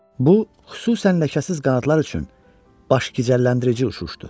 Bu xüsusən ləkəsiz qanadlar üçün başgicəlləndirici uçuşdu.